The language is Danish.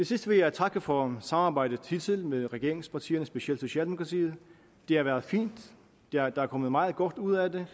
sidst vil jeg takke for samarbejdet hidtil med regeringspartierne specielt socialdemokratiet det har været fint der er kommet meget godt ud af det